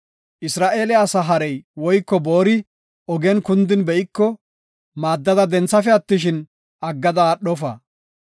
Isra7eele asa harey woyko boori ogen kundin be7iko, maaddada denthafe attishin, aggada aadhofa.